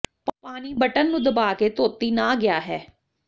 ਪਾਣੀ ਬਟਨ ਨੂੰ ਦਬਾ ਕੇ ਧੋਤੀ ਨਾ ਗਿਆ ਹੈ